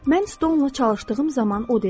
Mən Stonela çalışdığım zaman o dedi: